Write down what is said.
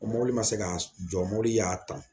O mobili ma se ka jɔ mobili y'a ta